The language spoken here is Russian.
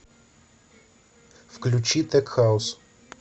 включи тек хаус